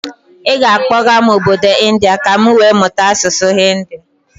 Ị ga akpọga m obodo India ka m wee mụta asụsụ Hinidi?